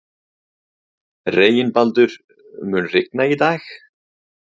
Reginbaldur, mun rigna í dag?